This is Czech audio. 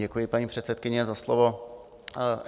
Děkuji, paní předsedkyně, za slovo.